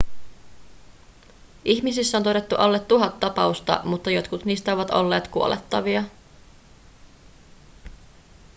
ihmisissä on todettu alle tuhat tapausta mutta jotkut niistä ovat olleet kuolettavia